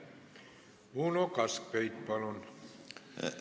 Uno Kaskpeit, palun!